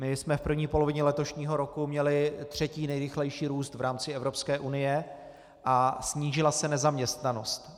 My jsme v první polovině letošního roku měli třetí nejrychlejší růst v rámci Evropské unie a snížila se nezaměstnanost.